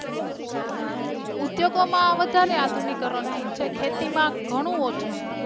ઉદ્યોગો માં વધારે આધુનિકરણ થયું છે ખેતી માં ઘણું ઓછું.